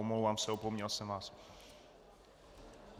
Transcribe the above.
Omlouvám se, opomněl jsem vás.